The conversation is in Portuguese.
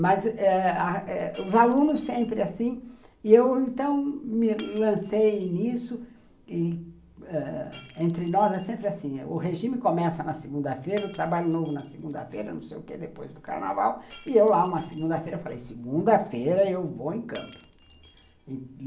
Mas eh mas eh os alunos sempre assim, e eu então me lancei nisso, e ãh entre nós é sempre assim, o regime começa na segunda-feira, o trabalho novo na segunda-feira, não sei o que, depois do carnaval, e eu lá uma segunda-feira falei, segunda-feira eu vou em campo.